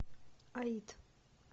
аид